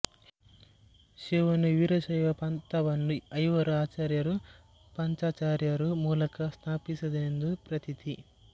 ಶಿವನು ವೀರಶೈವ ಪಂಥವನ್ನು ಐವರು ಆಚಾರ್ಯರು ಪಂಚಾಚಾರ್ಯರು ಮೂಲಕ ಸ್ಥಾಪಿಸಿದನೆಂದು ಪ್ರತೀತಿ